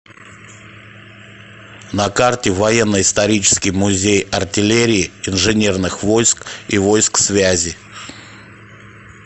на карте военно исторический музей артиллерии инженерных войск и войск связи